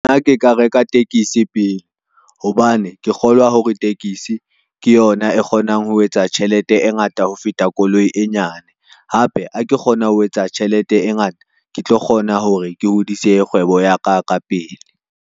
Nna ke ka reka tekesi pele, hobane ke kgolwa hore tekesi ke yona e kgonang ho etsa tjhelete e ngata ho feta koloi e nyane. Hape ha ke kgona ho etsa tjhelete e ngata, ke tlo kgona hore ke hodise kgwebo ya ka ka pele.